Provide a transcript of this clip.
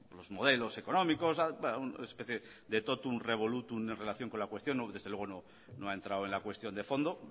los modelos económicos una especie de tótum revolútum en relación con la cuestión desde luego no ha entrado en la cuestión de fondo